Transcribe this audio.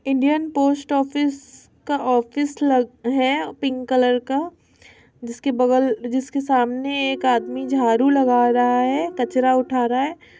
Indian post office का office लग है पिंक कलर का जिसके बगल जिसके सामने एक आदमी जाड़ू लगा रहा है कचरा उठा रहा है।